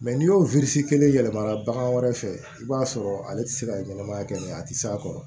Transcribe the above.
n'i y'o kelen yɛlɛma bagan wɛrɛ fɛ i b'a sɔrɔ ale ti se ka ɲɛnɛmaya kɛ a ti s'a kɔrɔ